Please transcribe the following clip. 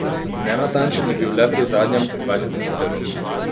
Nenatančen je bil le pri zadnjem, dvajsetem strelu.